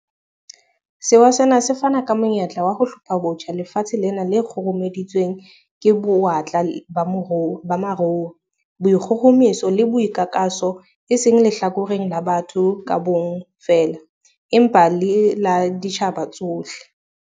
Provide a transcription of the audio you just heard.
Sewa sena se fana ka monyetla wa ho 'hlophabotjha' lefatshe lena le kgurumeditsweng ke bo-watla ba maruo, boikgohomoso le boikakaso e seng lehlakoreng la batho ka bomong feela, empa le la ditjhaba tsohle.